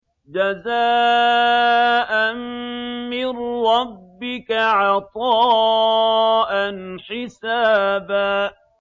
جَزَاءً مِّن رَّبِّكَ عَطَاءً حِسَابًا